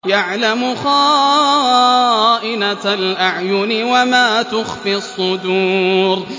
يَعْلَمُ خَائِنَةَ الْأَعْيُنِ وَمَا تُخْفِي الصُّدُورُ